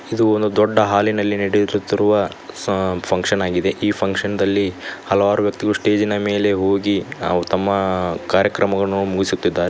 ಇದು ಒಂದು ದೊಡ್ಡ ಹಾಲಿನಲ್ಲಿ ನಡೆಯುತ್ತಿರುವ ಸ ಫಂಕ್ಷನ್ ಆಗಿದೆ ಈ ಫಂಕ್ಷನ್ ದಲ್ಲಿ ಹಲವಾರು ವ್ಯಕ್ತಿಗಳು ಸ್ಟೇಜಿ ನ ಮೇಲೆ ಹೋಗಿ ಅವ್ರ್ ತಮ್ಮ ಕಾರ್ಯಕ್ರಮವನ್ನು ಮುಗಿಸುತ್ತಿದ್ದಾರೆ.